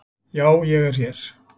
Já ég er hér.